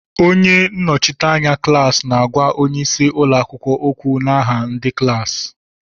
Onye nnọchiteanya klaasi na-àgwá onyeisi ụlọakwụkwọ ókwù n'aha ndị klaasi